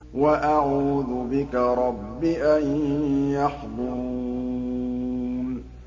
وَأَعُوذُ بِكَ رَبِّ أَن يَحْضُرُونِ